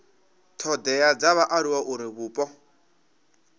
thodea dza vhaaluwa uri vhupo